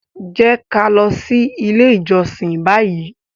Jẹ ki a lọ si ile ijọsin bayi!